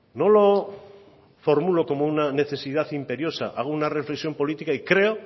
no lo formulo como una necesidad imperiosa hago una reflexión política y creo